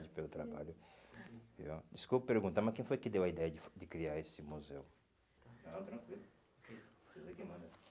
Desculpe perguntar, mas quem foi que deu a ideia de de criar esse museu? Não, tranquilo. Vocês é quem manda.